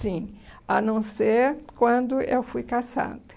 Sim, a não ser quando eu fui caçada.